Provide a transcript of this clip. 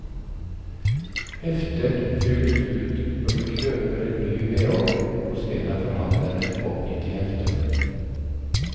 Heftet fylles ut når du kjøper en ny vedovn hos en av forhandlerne oppgitt i heftet.